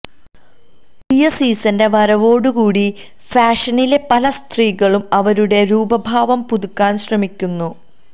പുതിയ സീസന്റെ വരവോടുകൂടി ഫാഷനിലെ പല സ്ത്രീകളും അവരുടെ രൂപഭാവം പുതുക്കാൻ ശ്രമിക്കുന്നു